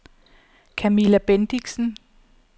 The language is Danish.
Camilla Bendixen